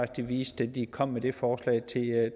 de viste da de kom med det forslag til